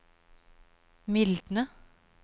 mildne